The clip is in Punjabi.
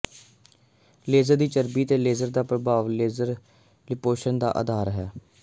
ਲੇਜ਼ਰ ਦੀ ਚਰਬੀ ਤੇ ਲੇਜ਼ਰ ਦਾ ਪ੍ਰਭਾਵ ਲੇਜ਼ਰ ਲਿਪੋਂਸ਼ਨ ਦਾ ਆਧਾਰ ਹੈ